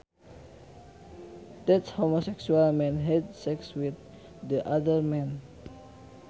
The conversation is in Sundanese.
That homosexual man had sex with the other man